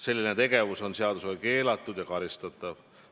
Selline tegevus on seadusega keelatud ja karistatav.